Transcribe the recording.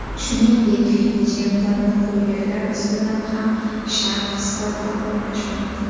Shuningdek, jemperni ko‘ylaklar ustidan ham sharf sifatida qo‘llash mumkin.